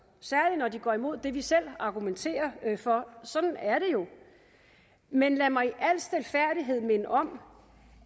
og de går imod det vi selv argumenterer for sådan er det jo men lad mig i al stilfærdighed minde om